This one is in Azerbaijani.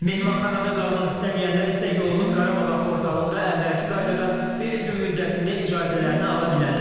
Mehmanxanada qalmaq istəməyənlər isə yolumuz Qarabağa portalında əvvəlki qaydada beş gün müddətində icazələrini ala bilərlər.